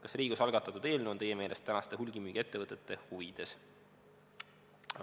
Kas Riigikogus algatatud eelnõu on teie meelest tänaste hulgimüügiettevõtete huvides?